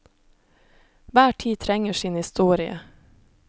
Hver tid trenger sin historie.